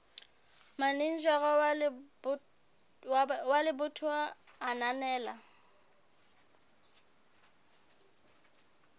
manejara wa lebatowa a ananela